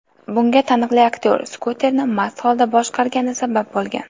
Bunga taniqli aktyor skuterni mast holda boshqargani sabab bo‘lgan.